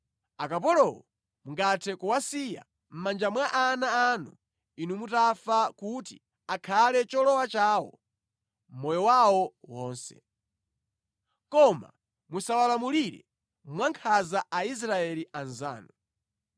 Akapolowo mungathe kuwasiya mʼmanja mwa ana anu inu mutafa kuti akhale cholowa chawo moyo wawo wonse. Koma musawalamulire mwankhanza Aisraeli anzanu.